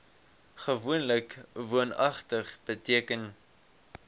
gewoonlik woonagtig beteken